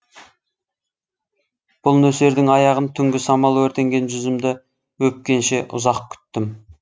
бұл нөсердің аяғын түнгі самал өртенген жүзімді өпкенше ұзақ күттім